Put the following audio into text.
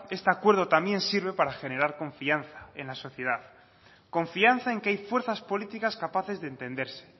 este acuerdo también sirve para generar confianza en la sociedad confianza en que hay fuerzas políticas capaces de entenderse